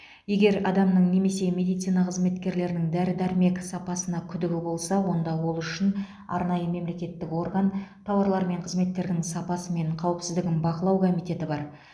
егер адамның немесе медицина қызметкерінің дәрі дәрмек сапасына күдігі болса онда ол үшін арнайы мемлекеттік орган тауарлар мен қызметтердің сапасы мен қауіпсіздігін бақылау комитеті бар